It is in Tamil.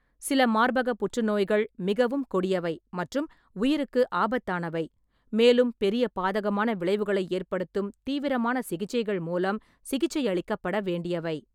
சில மார்பக புற்றுநோய்கள் மிகவும் கொடியவை மற்றும் உயிருக்கு ஆபத்தானவை, மேலும் பெரிய பாதகமான விளைவுகளை ஏற்படுத்தும் தீவிரமான சிகிச்சைகள் மூலம் சிகிச்சையளிக்கப்பட வேண்டியவை.